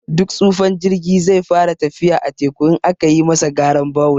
Duk tsufan jirgi zai fara tafiya a teku, in aka yi masa garan bawul.